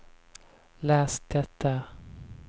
läs det där